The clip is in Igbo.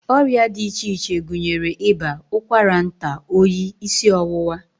Ọrịa dị iche iche gụnyere ịba, ụkwara nta, oyi, isi ọwụwa